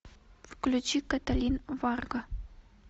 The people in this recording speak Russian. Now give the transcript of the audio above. включи каталин варга